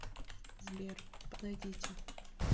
сбер подойдите